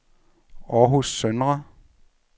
Århus Søndre